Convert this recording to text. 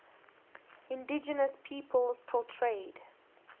indigenous peoples portrayed